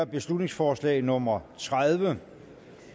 beslutningsforslag nummer tredive